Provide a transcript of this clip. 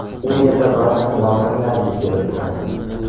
U yerda ba’zan yong‘inlar yuz berib turadi.